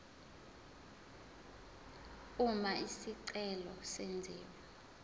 uma isicelo senziwa